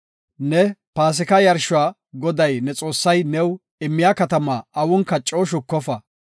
Ne Paasika yarshuwa Goday ne Xoossay new immiya katama awunka coo shukofa.